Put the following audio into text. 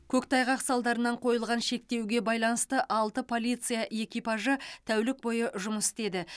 көктайғақ салдарынан қойылған шектеуге байланысты алты полиция экипажы тәулік бойы жұмыс істеді